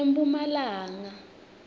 emphumalanga